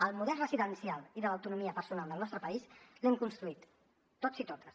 el model residencial i de l’autonomia personal del nostre país l’hem construït tots i totes